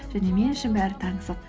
және мен үшін бәрі таңсық